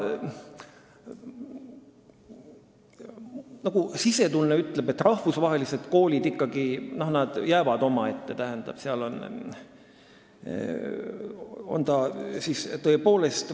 Jah, sisetunne ütleb, et rahvusvahelised koolid jäävad ikkagi omaette.